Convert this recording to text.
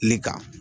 Ne ka